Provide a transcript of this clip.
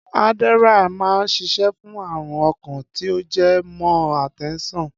Adderall máa ń ṣiṣẹ́ fún ààrùn ọkàn tí ó jẹ mọ́ àtẹ́ńsàn